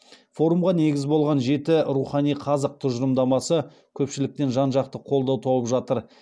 форумға негіз болған жеті рухани қазық тұжырымдамасы көпшіліктен жан жақты қолдау тауып жатыр